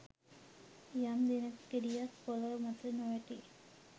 යම් දිනක ගෙඩියක් පොලව මතට නොවැටී